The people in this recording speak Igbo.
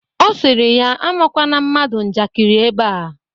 Ọ sịrị ya amakwana mmadụ njakịrị ebea